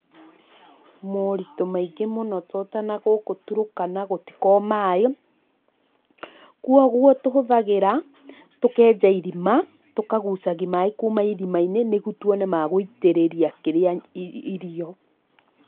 Moritũ maingĩ mũno to ta nangũkũ turkana gũtiko na maĩ, kwoguo tũhũthagĩra, tũkenja iriama, tũkagucagia maĩ kuma irima-inĩ nĩguo tuone ma gũitírĩria kĩrĩa, irio.